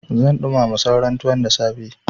Zan ɗumama sauran tuwon da safe.